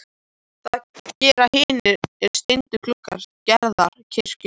Það gera hinir steindu gluggar Gerðar í kirkjunni líka.